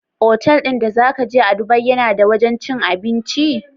Otal din da zaka je a dubai yAna da wajan cin abinci?